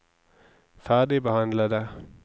ferdigbehandlede